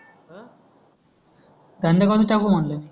धंदा कोणता टाकू म्हटल